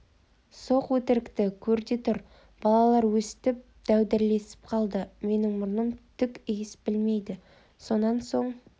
соқ өтірікті көр де тұр балалар өстіп дәудірлесіп қалды менің мұрным түк иіс білмейді сонан соң